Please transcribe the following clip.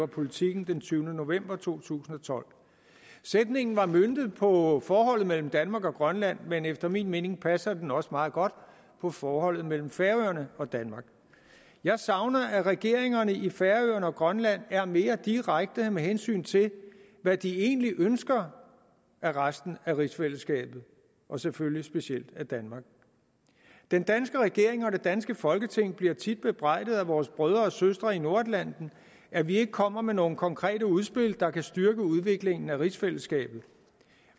politiken den tyvende november to tusind og tolv sætningen var møntet på forholdet mellem danmark og grønland men efter min mening passer den også meget godt på forholdet mellem færøerne og danmark jeg savner at regeringerne i færøerne og grønland er mere direkte med hensyn til hvad de egentlig ønsker af resten af rigsfællesskabet og selvfølgelig specielt af danmark den danske regering og det danske folketing bliver tit bebrejdet af vores brødre og søstre i nordatlanten at vi ikke kommer med nogle konkrete udspil der kan styrke udviklingen af rigsfællesskabet